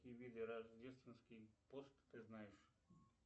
какие виды рождественский пост ты знаешь